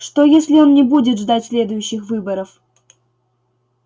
что если он не будет ждать следующих выборов